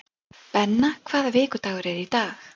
Benna, hvaða vikudagur er í dag?